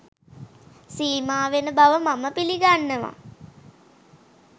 සීමා වෙන බව මම පිළිගන්නවා